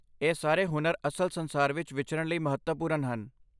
ਇਹ ਸਾਰੇ ਹੁਨਰ ਅਸਲ ਸੰਸਾਰ ਵਿੱਚ ਵਿਚਰਨ ਲਈ ਮਹੱਤਵਪੂਰਨ ਹਨ